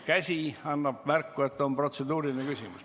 Käsi annab märku, et on protseduuriline küsimus.